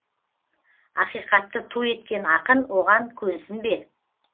ақиқатты ту еткен ақын оған көнсін бе